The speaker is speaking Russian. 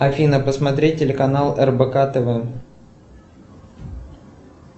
афина посмотреть телеканал рбк тв